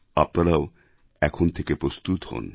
আপনারাও এখন থেকে প্রস্তুত হন